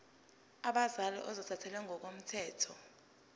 abazali ozothathele ngokomthetho